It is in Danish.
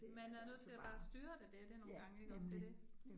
Man er nødt til bare at styre det, det jo det nogle gange ikke også det det